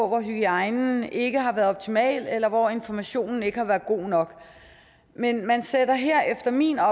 hvor hygiejnen ikke har været optimal eller hvor informationen ikke har været god nok men man sætter her efter min